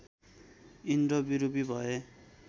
इन्द्र विरूपी भए